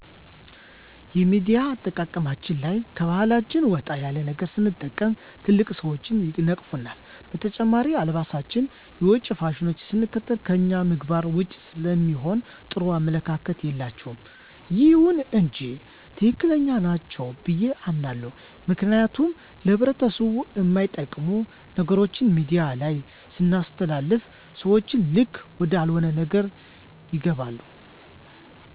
የሚዲያ አጠቃቀማችን ላይ ከባሕላችን ወጣ ያለ ነገር ስንጠቅም ትልልቅ ሰዎች ይነቅፉናል። በተጨማሪም አለባበሳችን የውጭ ፋሽኖችን ስንከተል ከእኛ ምግባር ዉጭ ስለሚሆን ጥሩ አመለካከት የላቸዉም። ይሁን እንጂ ትክክለኛ ናቸው ብዬ አምናለሁ ምክንያቱም ለህብረተሰቡ እማይጠቅሙ ነገሮችን ሚዲያ ላይ ስናስተላልፍ ሰዎችን ልክ ወደአልሆነ ነገር ይገባሉ።